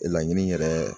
Laɲini yɛrɛ